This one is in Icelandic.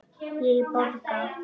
Ég borga!